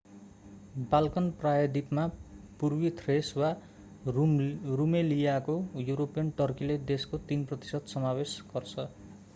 Balkan प्रायद्वीपमा पूर्वी Thrace वा रुमेलियाको युरोपियन टर्कीले देशको 3% समावेश गर्छ